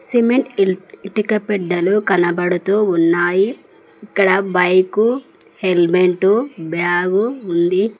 Cement ఇటుక బెడ్డలు కనబడుతూ ఉన్నాయి ఇక్కడ బైకు హెల్మెటు బ్యాగు ఉంది.